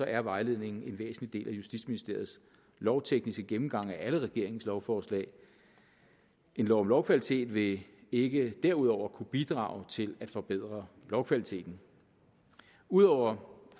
er vejledningen en væsentlig del af justitsministeriets lovtekniske gennemgang af alle regeringens lovforslag en lov om lovkvalitet vil ikke derudover kunne bidrage til at forbedre lovkvaliteten ud over